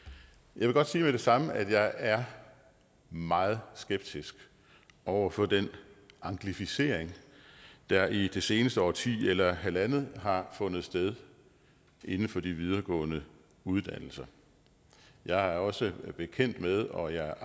jeg vil godt sige med det samme at jeg er meget skeptisk over for den anglificering der i det seneste årti eller halvandet har fundet sted inden for de videregående uddannelser jeg er også bekendt med og jeg